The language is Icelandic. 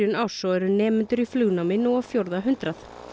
árs og eru nemendur í flugnámi nú á fjórða hundrað